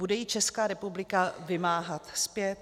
Bude ji Česká republika vymáhat zpět?